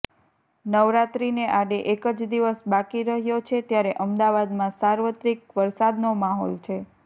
નવરાત્રીને આડે એક જ દિવસ બાકી રહ્યો છે ત્યારે અમદાવાદમાં સાર્વત્રિક વરસાદનો માહોલ છે